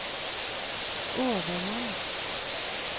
overmann